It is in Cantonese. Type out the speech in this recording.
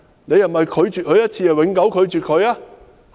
是否拒絕他一次便永久拒絕他？